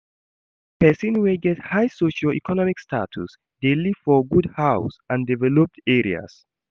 Persin wey get high socio-economic status de live for good house and developed areas